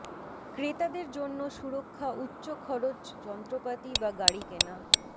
ক্রেতাদের জন্য সুরক্ষা উচ্চ খরচ যন্ত্রপাতি বা গাড়ি কেনা